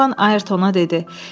Glenarvan Ayrtona dedi.